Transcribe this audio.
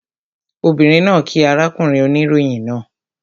Obìnrin náà kíí arákùnrin oníròyìn náà